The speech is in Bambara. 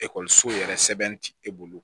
Ekɔliso yɛrɛ sɛbɛn ti e bolo